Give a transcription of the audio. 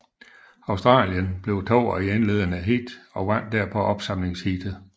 Australierne blev toer i indledende heat og vandt derpå opsamlingsheatet